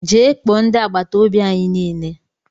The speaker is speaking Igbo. Gee kpoo ndị agbataobi anyị niile ugbua!!!!